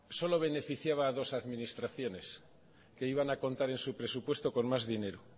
solo beneficiaba a dos administraciones que iban a contar en su presupuesto con más dinero